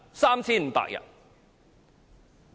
3,500 人。